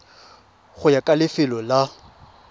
go ya ka lefelo la